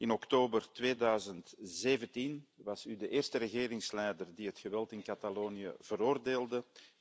In oktober 2017 was u de eerste regeringsleider die het geweld in Catalonië veroordeelde.